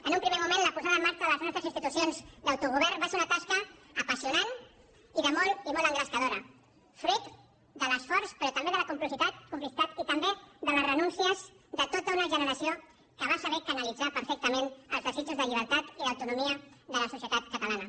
en un primer moment la posada en marxa de les nostres institucions d’autogovern va ser una tasca apassionant i molt engrescadora fruit de l’esforç però també de la complicitat i també de les renúncies de tota una generació que va saber canalitzar perfectament els desitjos de llibertat i d’autonomia de la societat catalana